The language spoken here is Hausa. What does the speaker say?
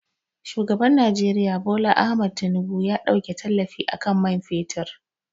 Shugaban Nijeriya Bola Ahmed Tinubu ya ɗauke tallafi akan man fetur